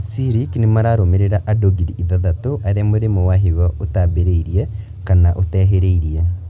CIRIC nĩmararũmĩrĩra andũ ngiri ithathatũ arĩa mũrimũ wa higo ũtambĩrĩirie kana ũtehĩrĩirie